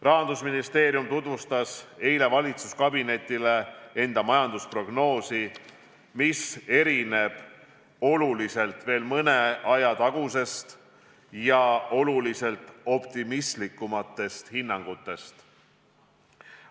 Rahandusministeerium tutvustas eile valitsuskabinetile oma majandusprognoosi, mis erineb oluliselt mõne aja tagustest oluliselt optimistlikumatest hinnangutest.